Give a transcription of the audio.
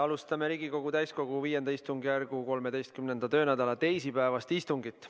Alustame Riigikogu täiskogu V istungjärgu 13. töönädala teisipäevast istungit.